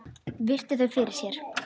Virti þau fyrir sér.